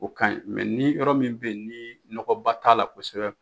0 kaɲi ni yɔrɔ min bɛyi ni nɔgɔba t'a la kosɛbɛ